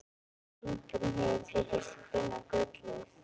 Engum hefur tekist að finna gullið.